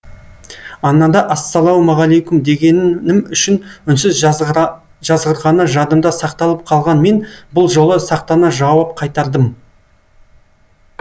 анада ассалаумағалейкум дегенім үшін үнсіз жазғырғаны жадымда сақталып қалған мен бұл жолы сақтана жауап қайтардым